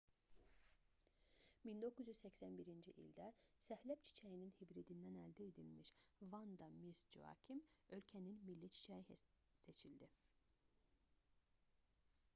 1981-ci ildə səhləb çiçəyinin hibridindən əldə edilmiş vanda miss joakim ölkənin milli çiçəyi seçildi